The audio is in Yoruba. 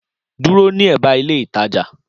Dúró ní èbá ilé ìtajà